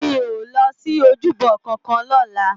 Mi ó lòsi ójúbò kànkàn lòlá